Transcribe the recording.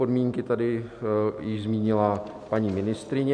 Podmínky tady již zmínila paní ministryně.